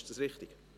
Ist dies richtig?